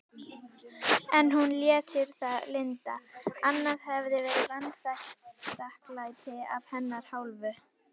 En hún lét sér það lynda, annað hefði verið vanþakklæti af hennar hálfu.